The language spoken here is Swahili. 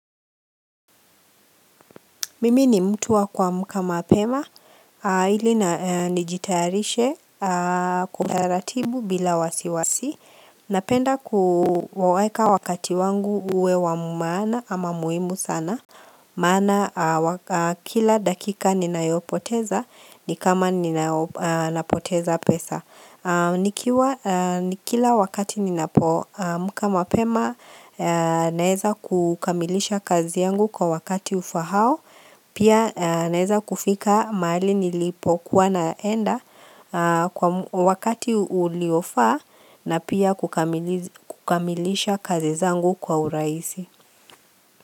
Mimi ni mtu wa kuamka mapema, ili nijitayarishe kwa utaratibu bila wasiwasi. Napenda kuweka wakati wangu huwe wa maana ama muhimu sana. Maana kila dakika ninayopoteza, ni kama ninapoteza pesa. Nikiwa Kila wakati ninapoamka mapema naweza kukamilisha kazi yangu kwa wakati ufahao. Pia naweza kufika mahali nilipokuwa naenda kwa wakati uliofaa na pia kukamilisha kazi zangu kwa urahisi.